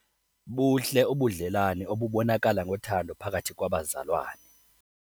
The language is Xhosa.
Buhle ubudlelane obubonakala ngothando phakathi kwabazalwane.